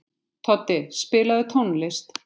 Toddi, spilaðu tónlist.